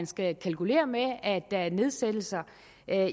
skal kalkulere med at der er nedsættelser